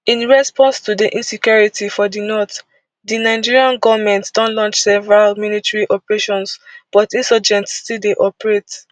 in response to di insecurity for di north di nigerian goment don launch several military operations but insurgents still dey operate